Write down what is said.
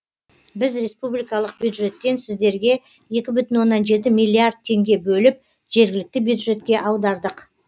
біз республикалық бюджеттен сіздерге екі бүтін оннан жеті миллиард теңге бөліп жергілікті бюджетке аудардық